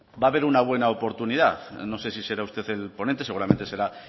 va a haber una buena oportunidad no sé si será usted el ponente seguramente será